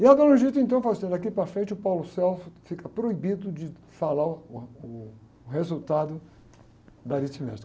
E a dona, então, falou assim, ó, daqui para frente, o, fica proibido de falar uh, ah, uh, o resultado da aritmética